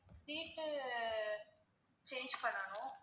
seat உ change பண்ணனும்.